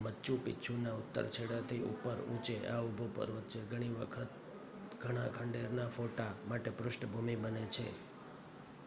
મચુ પીછુંના ઉત્તર છેડાથી ઉપર ઊંચે આ ઊભો પર્વત છે ઘણીવખત ઘણા ખંડેરના ફોટા માટે પૃષ્ઠભૂમિ બને છે